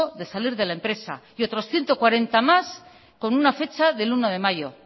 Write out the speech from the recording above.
de salir de la empresa y otros cuarenta más con una fecha del uno de mayo